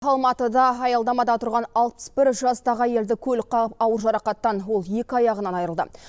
алматыда аялдамада тұрған алпыс бір жастағы әйелді көлік қағып ауыр жарақаттан ол екі аяғынан айырылды